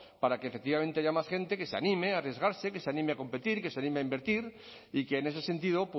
para que efectivamente haya más gente que se anime arriesgarse que se anime a competir que se anime a invertir y que en ese sentido